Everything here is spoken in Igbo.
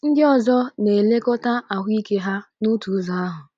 Ndị ọzọ na - elekọta ahụ ike ha n’otu ụzọ ahụ.